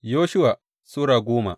Yoshuwa Sura goma